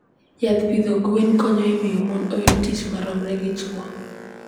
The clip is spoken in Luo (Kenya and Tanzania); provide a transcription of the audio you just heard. Yath pidho gwen konyo e miyo mon oyud tich ma romre gi chwo.